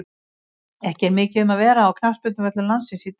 Ekki er mikið um að vera á knattspyrnuvöllum landsins í dag.